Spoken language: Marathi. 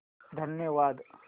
धन्यवाद